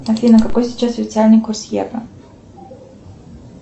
афина какой сейчас официальный курс евро